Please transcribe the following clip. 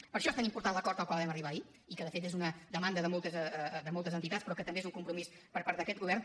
per això és tan important l’acord al qual vam arribar ahir i que de fet és una demanda de moltes entitats però que també és un compromís per part d’aquest govern